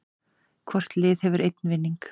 Hvort lið hefur einn vinning